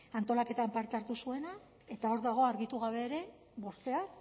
antolaketan parte hartu zuena eta hor dago argitu gabe ere bostean